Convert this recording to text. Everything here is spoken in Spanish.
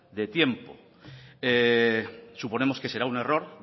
de tiempo suponemos que será un error